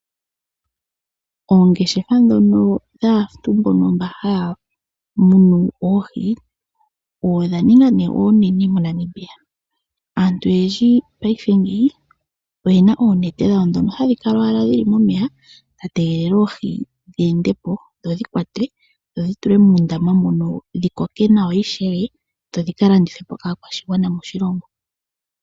Oongeshefa dhono dhaantu mbono mba haya munu oohi odha ninga ne onene moNamibia. Aantu oyendji paife ngeyi oyena onete dhawo dhono hadhi kala owala dhili momeya dha tegelela oohi dhi endepo dhodhi kwatwe dhodhi tulwe muundama mono dhi koke nawa ishewe dho dhika landithwepo kaakwashigwana moshilongo.